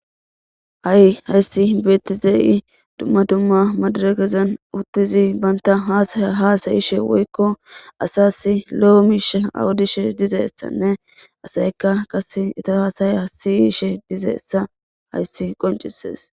Hay hayssi beettizayssi dumma dumma madirekezan uttizi bantta haasaya haasayishe woykko asaasi lo miishsha odishe dizayitanne asaykka qasse etta hassaya siyishe dizaytta hayssi qonccisees.